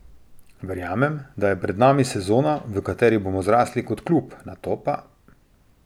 Verjamem, da je pred nami sezona, v kateri bomo zrasli kot klub, nato pa ...